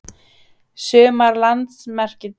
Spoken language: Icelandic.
Sumar landamerkjadeilur stóðu lengi.